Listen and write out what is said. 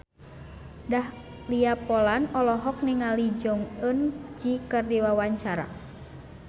Dahlia Poland olohok ningali Jong Eun Ji keur diwawancara